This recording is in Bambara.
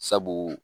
Sabu